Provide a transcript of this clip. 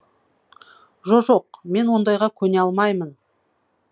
жо жоқ мен ондайға көне алмаймын